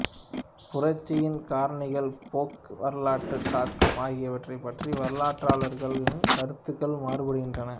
புரட்சியின் காரணிகள் போக்கு வரலாற்றுத் தாக்கம் ஆகியவற்றை பற்றி வரலாற்றாளர்களின் கருத்துகள் மாறுபடுகின்றன